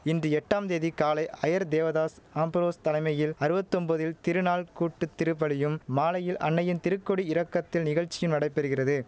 into எட்டாம் தேதி காலை ஆயர் தேவதாஸ் அம்புரோஸ் தலைமையில் அறுவத்தொம்பதில் திருநாள் கூட்டுத்திருப்பலியும் மாலையில் அன்னையின் திருக்கொடி இறக்கத்தில் நிகழ்ச்சியும் நடைபெறுக்கிறது